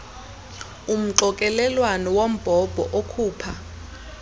umxokelelwano wombhobho okhupha